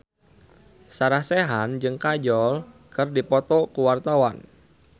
Sarah Sechan jeung Kajol keur dipoto ku wartawan